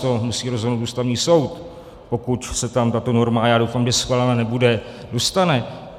To musí rozhodnout Ústavní soud, pokud se tam tato norma - a já doufám, že schválená nebude - dostane.